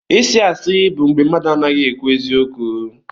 ịsị asi bụ mgbé mmadụ anaghị ekwu eziokwu.